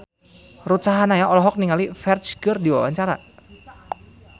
Ruth Sahanaya olohok ningali Ferdge keur diwawancara